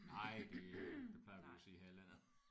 Nej det det plejer vi jo at sige her i landet